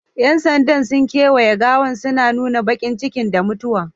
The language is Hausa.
Yan sandan sun kawaye gawan suna nuna bakincikin da mutuwar